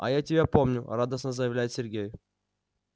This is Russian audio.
а я тебя помню радостно заявляет сергей